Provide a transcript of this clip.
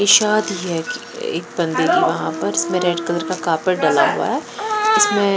एक साथ भी है एक बंदे वहां पर इसमें रेड कलर का कापट डाला हुआ है इसमें।